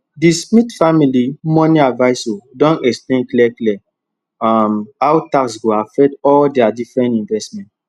di smith family money advisor don explain clear clear um how tax go affect all dia different investment